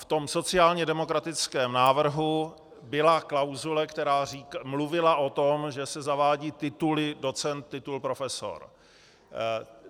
V tom sociálně demokratickém návrhu byla klauzule, která mluvila o tom, že se zavádí titul docent, titul profesor.